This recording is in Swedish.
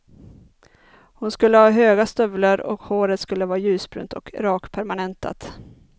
Hon skulle ha höga stövlar och håret skulle vara ljusbrunt och rakpermanentat.